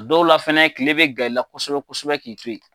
Dɔw la fɛnɛ kile bɛ gan i la kosɛbɛ kosɛbɛ k'i to yen.